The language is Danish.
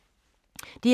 DR2